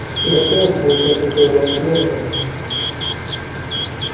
готов будь а то ты у нас нежный